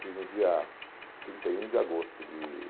Fiz no dia trinta e um de agosto de